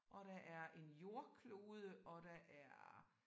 Og der er en jordklode og der er